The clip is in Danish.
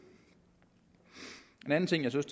en anden ting jeg synes